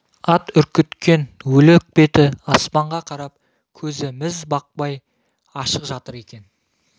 ат үркіткен өлік беті аспанға қарап көзі міз бақпай ашық жатыр екен